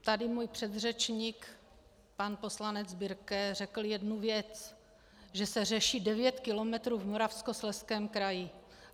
Tady můj předřečník pan poslanec Birke řekl jednu věc: že se řeší devět kilometrů v Moravskoslezském kraji.